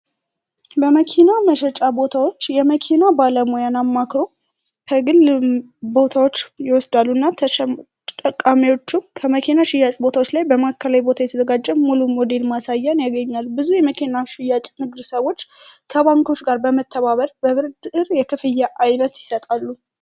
በመኪና መሸጫ ቦታዎች የመኪና ባለሙያን አማክሮ ከግል ቦታዎች ይወስዳሉ እና ተጠቃሚዎቹ ከመኪና ሽያጭ ቦታዎች ላይ በማዕከላይ ቦታ የተዘጋጀብ ሙሉ ሞዴል ማሳያን ያገኛሉ። ብዙ የመኪና ሽያጭ ንግድ ሰዎች ከባንኮች ጋር በመተባበር በብድር የክፍያ የዓይነት ይሰጣሉ።